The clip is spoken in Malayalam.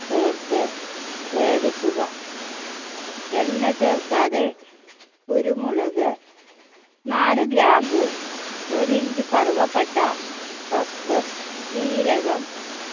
ചേർത്ത് വേവിക്കുക എണ്ണ ചേർക്കാതെ കുരുമുളക് നാല് ഗ്രാമ്പു ഒരു inch കറുവപ്പട്ട cuscus ജീരകം